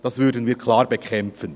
Das würden wir klar bekämpfen.